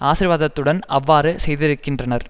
ஆசீர்வாதத்துடன் அவ்வாறு செய்திருக்கின்றனர்